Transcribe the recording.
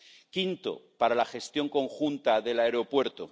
quinto, para la gestión conjunta del aeropuerto.